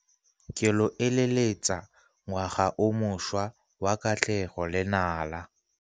Ke lo eleletsa ngwaga o mošwa wa katlego le nala.